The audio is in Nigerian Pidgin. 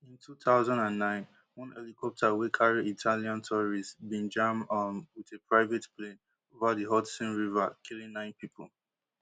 in two thousand and nine one helicopter wey carry italian tourists bin jam um wit a private plane over di hudson river killing nine pipo